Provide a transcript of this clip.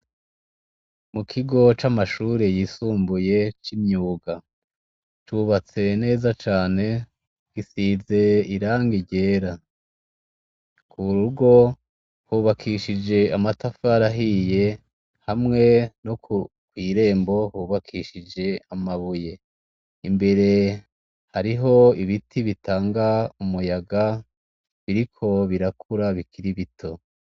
Mukigo camashure yisumbuye cimyuga cubatse neza cane gisize irangi ryera kurugo hubakishijwe amatafari ahiye hamwe no kwirembo hubakishije amabuye imbere hariho ibiti bitanga umuyaga biriko birakura bikiri bito